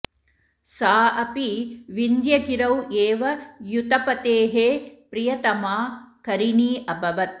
सा अपि विन्ध्यगिरौ एव युथपतेः प्रियतमा करिणी अभवत्